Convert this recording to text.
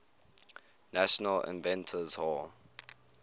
national inventors hall